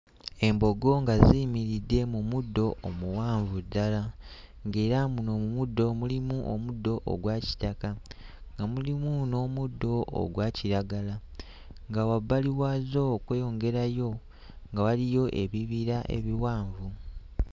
Embogo nga ziyimiridde mu muddo omuwanvu ddala ng'era muno mu muddo mulimu omuddo ogwa kitaka nga mulimu n'omuddo ogwa kiragala nga wabbali waazo okweyongerayo nga waliyo ebibira ebiwanvu